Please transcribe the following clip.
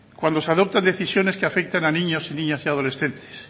cuando se adoptan decisiones que afectan a niños niñas y adolescentes